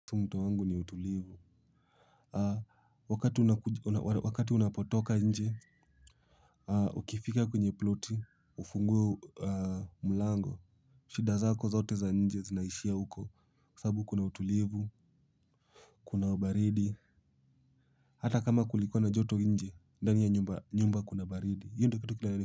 Mto wangu ni utulivu wakati unapotoka nje ukifika kwenye ploti ufungue mlango shida zako zote za nje zinaishia huko sababu kuna utulivu kuna baridi hata kama kulikuwa na joto nje ndani ya nyumba kuna baridi.